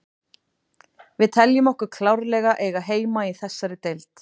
Við teljum okkur klárlega eiga heima í þessari deild.